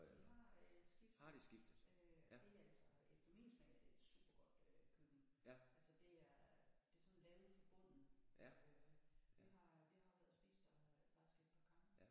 De har øh skiftet øh og det altså efter min smag er det et super godt det der køkken altså det er det er sådan lavet fra bunden øh vi har vi har været og spise der faktisk et par gange